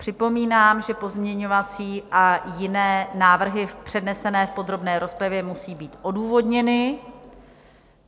Připomínám, že pozměňovací a jiné návrhy přednesené v podrobné rozpravě musí být odůvodněny.